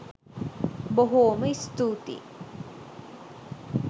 බොහෝම ස්තූතියි